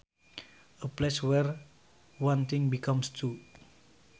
A place where one thing becomes two